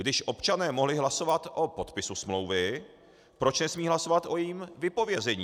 Když občané mohli hlasovat o podpisu smlouvy, proč nesmějí hlasovat o jejím vypovězení?